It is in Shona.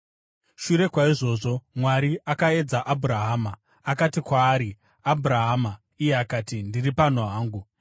Shure kwaizvozvo, Mwari akaedza Abhurahama. Akati kwaari, “Abhurahama!” Iye akati, “Ndiri pano hangu.”